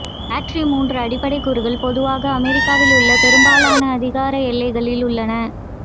battery மூன்று அடிப்படை கூறுகள் பொதுவாக அமெரிக்காவில் உள்ள பெரும்பாலான அதிகார எல்லைகளில் உள்ளன